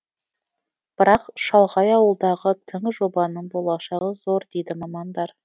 бірақ шалғай ауылдағы тың жобаның болашағы зор дейді мамандар